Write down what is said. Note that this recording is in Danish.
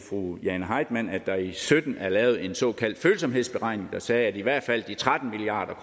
fru jane heitmann at der i sytten er lavet en såkaldt følsomhedsberegning der sagde at i hvert fald de tretten milliard